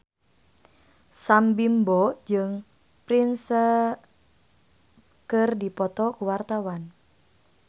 Sam Bimbo jeung Prince keur dipoto ku wartawan